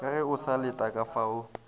ka ge o sa letekafao